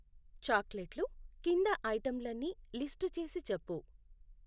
చాక్లెట్లు కింద ఐటెంలన్నీ లిస్టు చేసి చెప్పు.